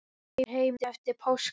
Kemur heim eftir páska.